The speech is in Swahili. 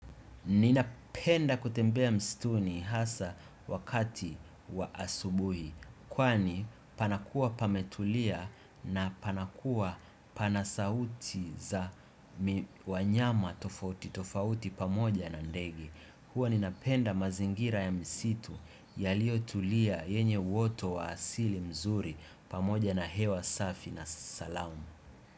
Ninapenda kutembea mstuni hasa wakati wa asubuhi, kwani panakua pametulia na panakua pana sauti za wanyama tofauti, tofauti pamoja na ndege. Huwa ninapenda mazingira ya misitu yaliyotulia yenye woto wa asili mzuri pamoja na hewa safi na salamu.